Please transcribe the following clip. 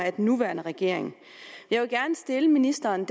af den nuværende regering jeg vil gerne stille ministeren